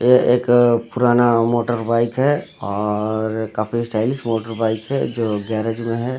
यह एक पुराना मोटरबाइक है और काफी स्टाइलिश मोटरबाइक है जो गैरेज में है।